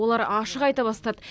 олар ашық айта бастады